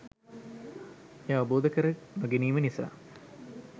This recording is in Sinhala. එය අවබෝධකර නොගැනීම නිසා